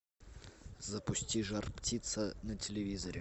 запусти жар птица на телевизоре